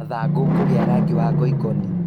Mathangũ kũgĩa rangi wa ngoikoni